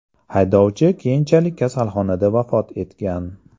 Haydovchi keyinchalik kasalxonada vafot etgan.